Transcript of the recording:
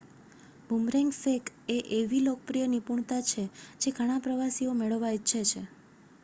boomerang ફેંક એ એવી લોકપ્રિય નિપુણતા છે જે ઘણાં પ્રવાસીઓ મેળવવા ઇચ્છે છે